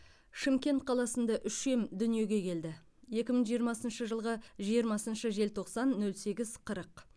шымкент қаласында үшем дүниеге келді екі мың жиырмасыншы жылғы жиырмасыншы желтоқсан нөл сегіз қырық